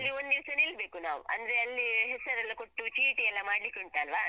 ಅಲ್ಲಿ ಒಂದಿವ್ಸ ನಿಲ್ಬೇಕು ನಾವು ಅಂದ್ರೆ ಅಲ್ಲಿ ಹೆಸರೆಲ್ಲ ಕೊಟ್ಟು ಚೀಟಿಯೆಲ್ಲಾ ಮಾಡ್ಲಿಕ್ಕುಂಟಲ್ವಾ.